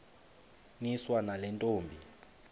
niswa nale ntombi